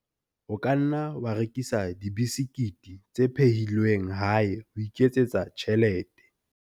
O ka nna wa rekisa dibesekete tse phehilweng hae ho iketsetsa tjhelete.